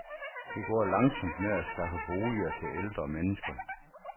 Det går langsomt med at skaffe boliger til ældre mennesker.